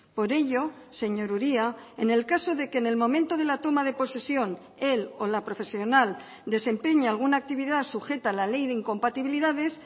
por ello señor uria en el caso de que en el momento de la toma de posesión el o la profesional desempeñe alguna actividad sujeta a la ley de incompatibilidades